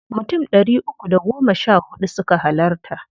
Mutum ɗari uku da goma sha huɗu suka halarta.